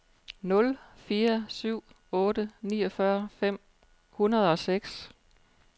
nul fire syv otte niogfyrre fem hundrede og seks